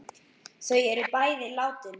Þau er bæði látin.